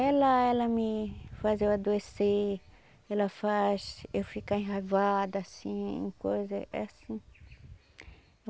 Ela ela me faz eu adoecer, ela faz eu ficar enraivada, assim, coisa é assim.